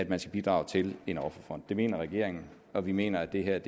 man skal bidrage til en offerfond det mener regeringen og vi mener at det her